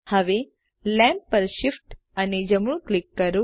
હવે લેમ્પ પર શિફ્ટ અને જમણું ક્લિક કરો